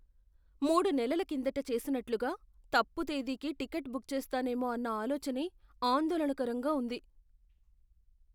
మూడు నెలల కిందట చేసినట్లుగా తప్పు తేదీకి టికెట్ బుక్ చేస్తానేమో అన్న ఆలోచనే ఆందోళనకరంగా ఉంది.